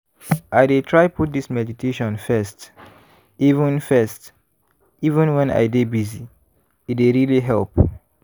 i dey try put this meditation first even first even when i dey busy- e dey really help.